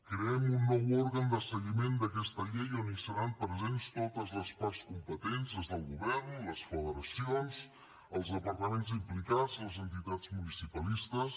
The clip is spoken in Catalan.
creem un nou òrgan de seguiment d’aquesta llei on seran presents totes les parts competents des del govern les federacions els departaments implicats les entitats municipalistes